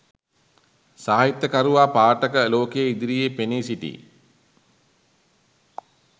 සාහිත්‍යකරුවා පාඨක ලෝකය ඉදිරියේ පෙනී සිටියි.